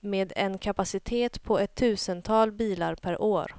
med en kapacitet på ett tusental bilar per år.